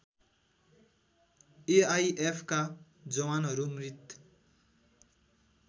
एआइएफका जवानहरू मृत